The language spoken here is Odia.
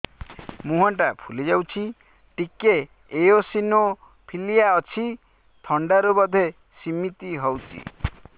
ମୁହଁ ଟା ଫୁଲି ଯାଉଛି ଟିକେ ଏଓସିନୋଫିଲିଆ ଅଛି ଥଣ୍ଡା ରୁ ବଧେ ସିମିତି ହଉଚି